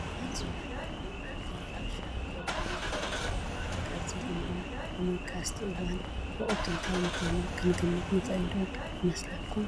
ኣዝዩ ለምለም ጐቦን ናይ ሕርሻ ገርሁን ይርአዩ ኣለዉ፡፡ ካብዚ ልምላመ ብምብጋስ እቲ እዋን ወቕቱ እንታይ ምዃኑ ክንግምት ንኽእል ዶ ይመስለኩም?